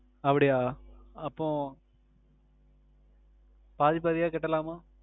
அப்படியா அப்ப பாதி பாதியா கட்டலாமா